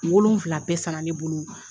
Wolonfila bɛɛ san na ne bolo